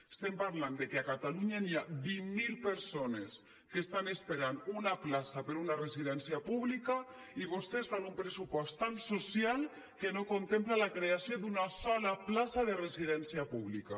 estem parlant de que a catalunya hi ha vint mil persones que estan esperant una plaça per a una residència pública i vostès fan un pressupost tan social que no contempla la creació d’una sola plaça de residència pública